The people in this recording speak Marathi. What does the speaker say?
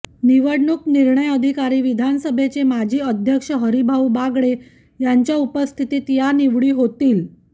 निवडणूक निर्णय अधिकारी विधानसभेचे माजी अध्यक्ष हरिभाऊ बागडे यांच्या उपस्थितीत या निवडी होईल